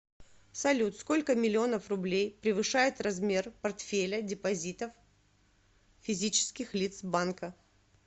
салют сколько миллионов рублей превышает размер портфеля депозитов физических лиц банка